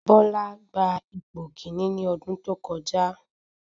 Bọ́lá gba ipò kíní ní ọdún tó kọjá.